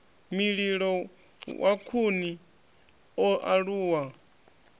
mililo wa khuni o aluwa